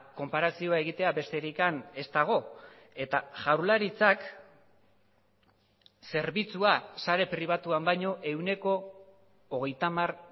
konparazioa egitea besterik ez dago eta jaurlaritzak zerbitzua sare pribatuan baino ehuneko hogeita hamar